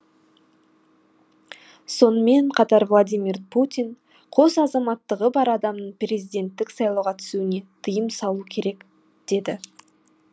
сонымен қатар владимир путин қос азаматтығы бар адамның президенттік сайлауға түсуіне тыйым салу керек деді